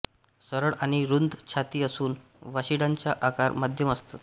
सरळ आणि रुंद छाती असून वशिंडाचा आकार मध्यम असत